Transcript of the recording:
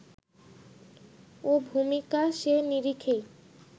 ও ভূমিকা সে নিরিখেই